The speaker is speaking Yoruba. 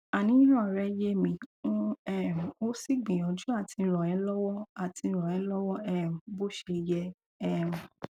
àníyàn rẹ yé mi n um ó sì gbìyànjú àti rànẹ lọwọ àti rànẹ lọwọ um bó ṣe yẹ um